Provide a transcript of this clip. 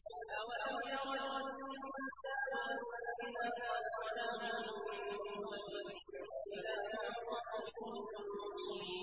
أَوَلَمْ يَرَ الْإِنسَانُ أَنَّا خَلَقْنَاهُ مِن نُّطْفَةٍ فَإِذَا هُوَ خَصِيمٌ مُّبِينٌ